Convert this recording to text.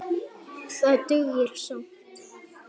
Það dugir skammt.